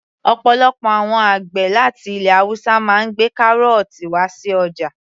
Ọ̀pọ̀lọpọ̀ àwọn àgbẹ̀ láti ilẹ̀ haúsá máa ń gbé kárọ̀ọ̀tì wá sí ọjà